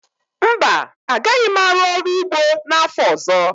Mba, agaghị m arụ ọrụ ugbo n'afọ ọzọ